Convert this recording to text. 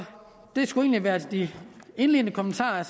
det skulle egentlig være de indledende kommentarer